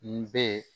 N bɛ